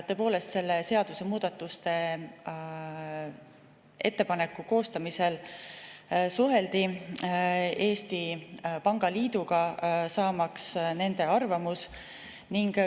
Tõepoolest, seadusemuudatuste ettepaneku koostamisel suheldi Eesti Pangaliiduga, saamaks nende arvamust.